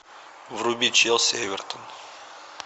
вруби челси эвертон